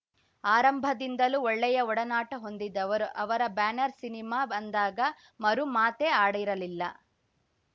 ಆರಂಭದಿಂದಲೂ ಒಳ್ಳೆಯ ಒಡನಾಟ ಹೊಂದಿದವರು ಅವರ ಬ್ಯಾನರ್‌ ಸಿನಿಮಾ ಅಂದಾಗ ಮರು ಮಾತೇ ಆಡಿರಲಿಲ್ಲ